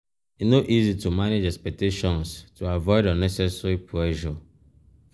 e no easy to manage expectations to avoid unnecessary pressure.